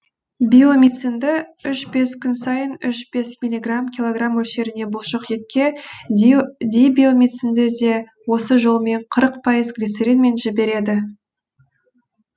биомицинді үш бес күн сайын үш бес миллиграмм килограмм мөлшеріне бұлшық етке дибиомицинді де осы жолмен қырық пайыз глицеринмен жібереді